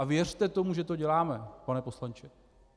A věřte tomu, že to děláme, pane poslanče.